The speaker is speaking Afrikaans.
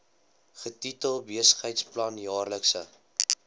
getitel besigheidsplan jaarlikse